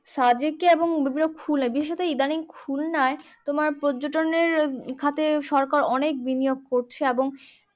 এবং বিভিন্ন বিশেষত ইদানিং খুলনায় তোমার পর্যটনের খাতে সরকার অনেক বিনিয়োগ করছে এবং